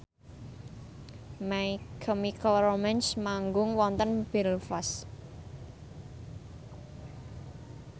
My Chemical Romance manggung wonten Belfast